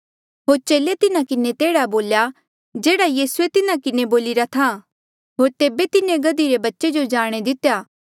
होर चेले तिन्हा किन्हें बोल्या जेह्ड़ा यीसूए तिन्हा किन्हें बोलिरा था होर तेबे तिन्हें गधे रे बच्चे जो जाणे दितेया